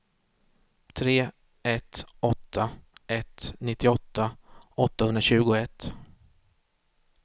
tre ett åtta ett nittioåtta åttahundratjugoett